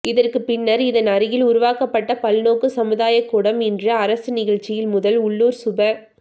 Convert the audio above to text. இதற்கு பின்னர் இதன் அருகில் உருவாக்கப்பட்ட பல்நோக்கு சமுதாய கூடம் இன்று அரசு நிகழ்ச்சிகள் முதல் உள்ளூர் சுப